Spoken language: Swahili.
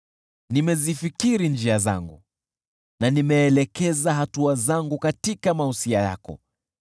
Nimezifikiri njia zangu na nimeelekeza hatua zangu katika mausia yako.